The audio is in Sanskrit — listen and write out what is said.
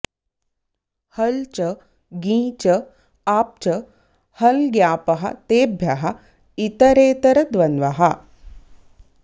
हल् च ङी च आप् च हल्ङ्यापः तेभ्यः ॰ इतरेतरद्वन्द्वः